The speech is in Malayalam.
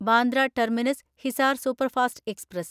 Bandra terminus Hisar superfast express